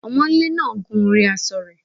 Ọmọńlé náà gun orí aṣọ rẹ̀